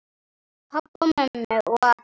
Pabba og mömmu og allra.